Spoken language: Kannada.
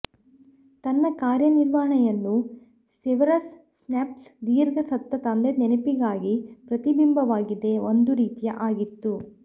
ತನ್ನ ಕಾರ್ಯನಿರ್ವಹಣೆಯನ್ನು ಸೆವೆರಸ್ ಸ್ನೇಪ್ ದೀರ್ಘ ಸತ್ತ ತಂದೆ ನೆನಪಿಗಾಗಿ ಪ್ರತಿಬಿಂಬವಾಗಿದೆ ಒಂದು ರೀತಿಯ ಆಗಿತ್ತು